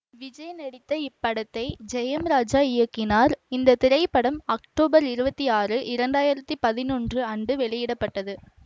விஜய் நடித்த இப்படத்தை ஜெயம் ராஜா இயக்கினார் இந்த திரைப்படம் அக்டோபர் இருபத்தி ஆறு இரண்டு ஆயிரத்தி பதினொன்று அன்று வெளியிட பட்டது